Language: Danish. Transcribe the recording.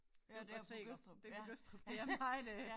Ja det på Gødstrup det på Gødstrup det er meget øh